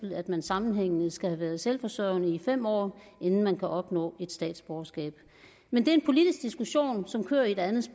at man sammenhængende skal have været selvforsørgende i fem år inden man kan opnå et statsborgerskab men det er en politisk diskussion som kører et andet